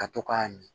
Ka to k'a min